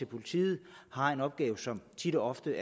politiet har en opgave som tit og ofte